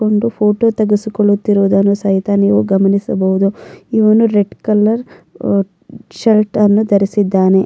ಒಂದು ಫೋಟೋ ತೆಗೆಸಿಕೊಳ್ಳುತ್ತಿರುವುದನ್ನು ಸಹಿತ ನೀವು ಗಮನಿಸಬಹುದು ಇವನು ರೆಡ್ ಕಲರ್ ಅಹ್ ಶರ್ಟ್ ಅನ್ನು ಧರಿಸಿದ್ದಾನೆ.